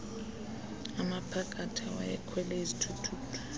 amaphakathi awayekhwele izithuthuthu